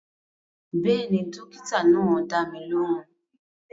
Bẹ́ẹ̀ni, dókítà náà dá mi lóhùn